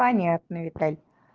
понятно виталь